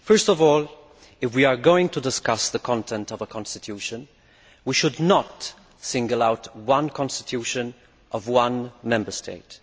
First of all, if we are going to discuss the content of a constitution, we should not single out one constitution of one Member State.